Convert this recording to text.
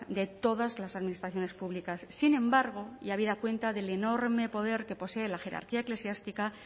de todas las administraciones públicas sin embargo y habida cuenta del enorme poder que posee la jerarquía eclesiástica